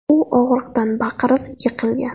U og‘riqdan baqirib, yiqilgan.